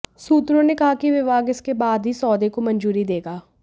सूत्रों ने कहा कि विभाग इसके बाद ही सौदे को मंजूरी देगा